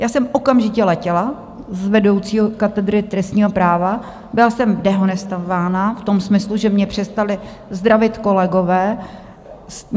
Já jsem okamžitě letěla z vedoucího katedry trestního práva, byla jsem dehonestována v tom smyslu, že mě přestali zdravit kolegové.